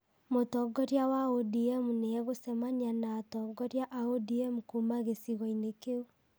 Mũtongoria wa ODM nĩ egũcemania na atongoria a ODM kuuma gĩcigo-inĩ kĩu